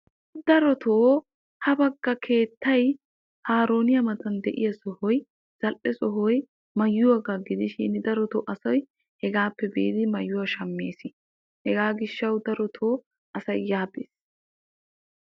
darotoo ha bagga keettay haaroniya matan de'iya sohoy zal'e sohoy maayuwaagaa gidishin darotoo asay hegaappe biidi maayuwa shameesi. hegaa gishawu darotoo asay yaa bes.